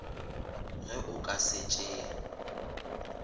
ge o ka se tšee